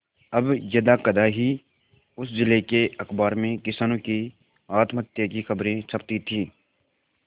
अब यदाकदा ही उस जिले के अखबार में किसानों के आत्महत्या की खबरें छपती थी